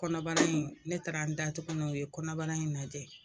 Kɔnɔbara in ne taara n da tuguni o ye kɔnɔbara in lajɛ.